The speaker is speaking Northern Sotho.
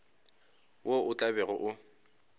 wo o tla bego o